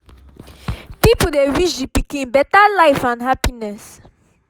people dey wish the pikin better life and happiness